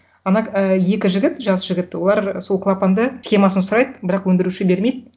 ана і екі жігіт жас жігіт олар сол клапанды схемасын сұрайды бірақ өндіруші бермейді